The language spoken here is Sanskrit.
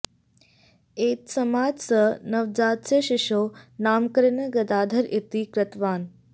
एतस्मात् सः नवजातस्य शिशोः नामकरणं गदाधर इति कृतवान्